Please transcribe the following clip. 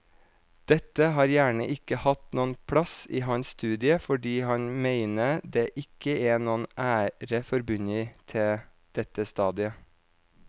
Dette har gjerne ikke hatt noen plass i hans studie fordi han mener det ikke er noen ære forbundet til dette stadiet.